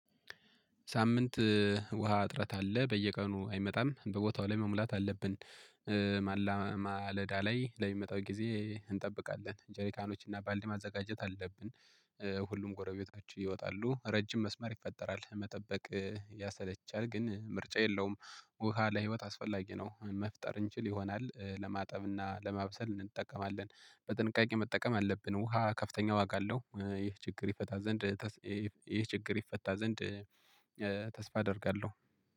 ሳምንት ውሃ እጥረት አለ በየቀኑ አይመጣም በቦታው ላይ መሙላት አለብን። ማለዳ ላይ ለሚመጣው ጊዜ እንጠብቃለን ጀሪካኖች እና ባልዲ ማዘጋጀት አለብን። ሁሉም ጎረቤታችሁ ይወጣሉ ረጅም መስመር ይፈጠራል መጠበቅ ያሰለቻል ግን ምርጫ የለውም። ውሃ ለህይወት አስፈላጊ ነው። መፍጠር እንችል ይሆናል ለማጠብና ለማብሰል እንጠቀማለን። በጥንቃቄ መጠቀም ያለብን ውሃ ከፍተኛ ዋጋ አለው። ይህ ችግር ይፈታ ዘንድ። ይህ ችግር ይፈታ ዘንድ። ተስፋ አደርጋለሁ